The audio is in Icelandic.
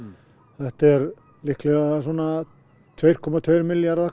þetta er líklega svona tvö komma tvo milljarða